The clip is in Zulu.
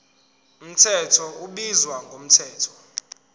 mthetho ubizwa ngomthetho